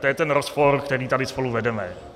To je ten rozpor, který tady spolu vedeme.